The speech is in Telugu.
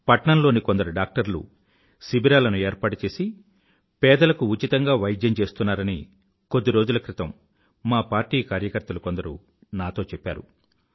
పట్నంలోని కొందరు డాక్టర్లు శిబిరాలను ఏర్పాటుచేసి పేదలకు ఉచితంగా వైద్యం చేస్తున్నారని కొద్ది రోజుల క్రితం మా పార్టీ కార్యకర్తలు కొందరు నాతో చెప్పారు